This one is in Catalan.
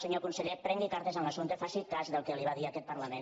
senyor conseller prengui cartes en l’assumpte faci cas del que li va dir aquest parlament